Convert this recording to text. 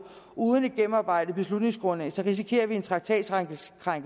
uden et gennemarbejdet beslutningsgrundlag risikerer en traktatkrænkelsessag